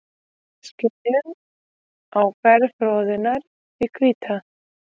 Við skynjum áferð froðunnar því hvíta.